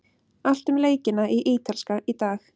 Allt um leikina í Ítalska í dag.